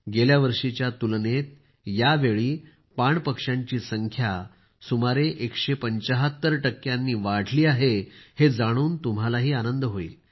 गेल्या वर्षीच्या तुलनेत या वेळी पाण पक्ष्यांची संख्या सुमारे एकशे पंचाहत्तर 175 टक्क्यांनी वाढली आहे हे जाणून तुम्हालाही आनंद होईल